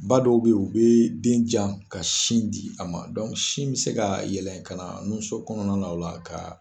Ba dɔw be yen, u bi den jan ka sin di a ma, sin mi se ka yɛlɛ ka na nuso kɔnɔna o la ka